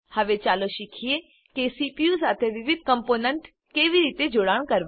હવે ચાલો શીખીએ કે સીપીયુ સાથે વિવિધ કમ્પોનન્ટ કેવી રીતે જોડાણ કરવા